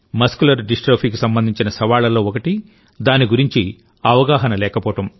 muscular డిస్ట్రోఫీకి సంబంధించిన సవాళ్లలో ఒకటి దాని గురించి అవగాహన లేకపోవడం